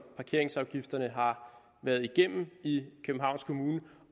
parkeringsafgifterne har været igennem i københavns kommune